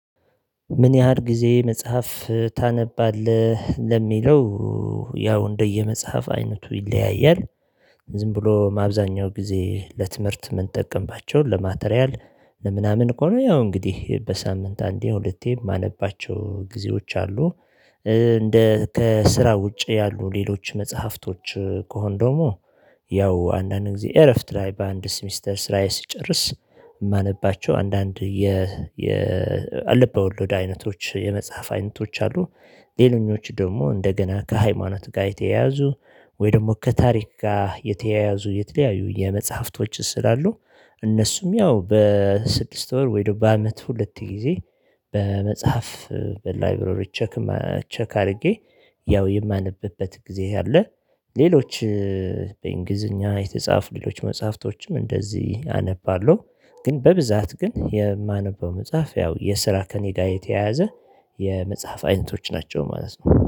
ምን ያህል ጊዜ መጽሐፍ ታነባለህ ለሚለው? ያው እንደየመጽሐፍ አይነቱ ይለያያል። ዝም ብሎ ማብዛኛው ጊዜ ለትምህርት ምንጠቅምባቸውን ለማቴሪያል ለምናምን ከሆነ ያው እንግዲህ በሳምንት አንዴ ሁለቴ የማነባቸው ጊዜዎች አሉ። እንደ ከስራ ውጪ ያሉ ሌሎች መጽሐፍቶች ከሆን ደግሞ ያው አንዳንድ ጊዜ እረፍት ላይ በአንድ ሴሚስተር ስራዬ ስጨርስ። እማነባቸው አንዳንድ የ የ አለ ልቦዎለድ አይነቶች የመጽሐፍ አይነቶች አሉ። ሌለኞቹ ደግሞ እንደገና ከሃይማኖት ጋ የተያያዙ ወይ ደግሞ ከታሪክ ጋ የተያያዙ የተለያዩ የመጽሐፍቶች ስላሉ። እነሱም ያው በስድስት ወር ወይ ደግሞ በአመት ሁለት ጊዜ። በመጽሐፍ በላይብረሪ ቸክ ቸክ አድርጌ ያው የማነብበት ጊዜ አለ። ሌሎች በእንግሊዝኛ የተጻፉ ሌሎች መጽሐፍቶችም እንደዚህ አነባለሁ። ግን በብዛት ግን የማነበው መጽሐፍ ያው የስራ ከኔጋ የተያያዘ የመጽሐፍ አይነቶች ናቸው ማለት ነው